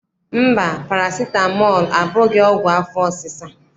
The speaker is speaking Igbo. Mba, parasitamọl abụghị ọgwụ afọ ọsịsa.